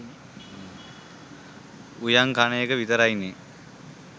උයං කනඑක විතරයිනෙ.